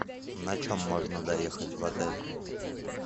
на чем можно доехать в отель